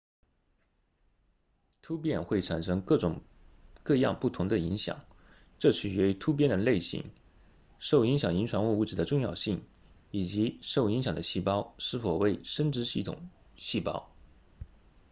突变会产生各种各样不同的影响这取决于突变的类型受影响遗传物质的重要性以及受影响的细胞是否为生殖系细胞